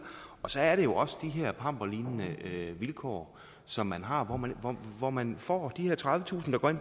og så er det jo også de her pamperlignende vilkår som man har hvor man hvor man får de her tredivetusind kr